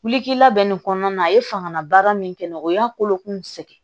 Wulika bɛ nin kɔnɔna na a ye fangala baara min kɛ n na o y'a kolokun sɛgɛn